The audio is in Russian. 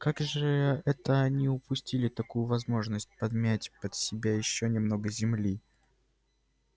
и как же это они упустили такую возможность подмять под себя ещё немного земли